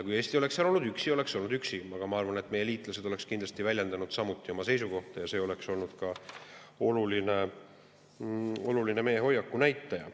Kui Eesti oleks seal olnud üksi, oleks, aga ma arvan, et meie liitlased oleksid kindlasti väljendanud samuti oma seisukohta ja see oleks olnud ka oluline meie hoiaku näitaja.